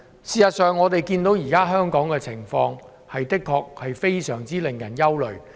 事實上，我們看到香港現時的情況的確令人非常憂慮。